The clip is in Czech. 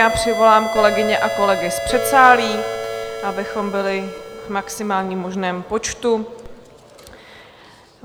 Já přivolám kolegyně a kolegy z předsálí, abychom byli v maximálním možném počtu.